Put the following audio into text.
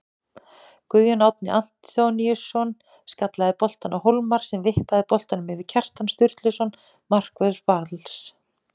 Guðjón Árni Antoníusson skallaði boltann á Hólmar sem vippaði boltanum yfir Kjartan Sturluson markvörð Vals.